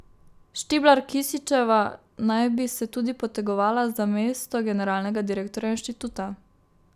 Štiblar Kisićeva naj bi se tudi potegovala za mesto generalnega direktorja inštituta.